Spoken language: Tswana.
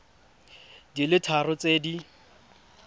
di le tharo tse di